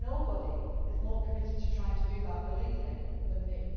more fully. Nobody is more committed to trying to do that than I